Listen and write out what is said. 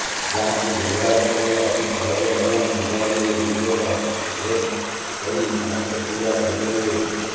ଯାହାକୁ ବ୍ୟବହାର କରିବା ଅତି ସହଜ ଏବଂ ମୋବାଇଲରେ ୟୁଜର ଅପରେଟ୍ କରି ସମସ୍ତ ସୁବିଧା ପାଇପାରିବେ